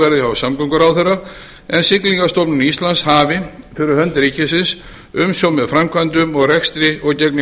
verði hjá samgönguráðherra en siglingastofnun íslands hafi fyrir hönd ríkisins umsjón með framkvæmdum og rekstri og gegni